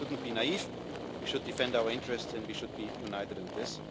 trade. We shouldn't be naive, we should defend our interests and we should be united on